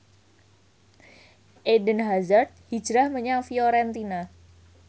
Eden Hazard hijrah menyang Fiorentina